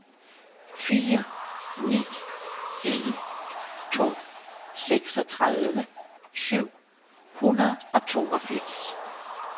fire ni en to seksogtredive syv hundrede og toogfirs